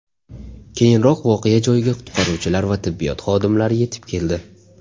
Keyinroq voqea joyiga qutqaruvchilar va tibbiyot xodimlari yetib keldi.